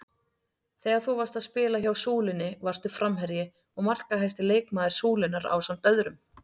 Þegar þú varst að spila hjá Súlunni varstu framherji og markahæsti leikmaður Súlunnar ásamt öðrum?